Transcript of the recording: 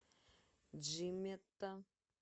джимета